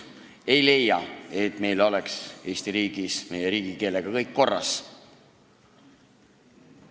Me ei leia, et meil Eesti riigis on riigikeelega kõik korras.